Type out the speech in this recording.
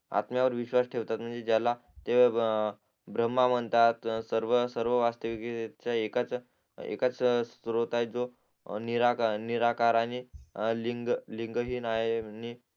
आत्म्यावर विश्वास ठेवतात म्हणजे ज्याला ते ब्रम्हा म्हणतात सर्व सर्व वास्तविकयुगीत जर एकाच एकाच श्रोत आहे जो नि निराकारानी लिंग लिंगहीन आहे आणि